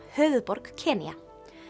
höfuðborg Kenía